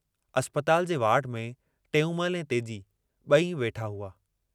अस्पताल जे वार्ड में टेऊंमल ऐं तेजी बई वेठा हुआ।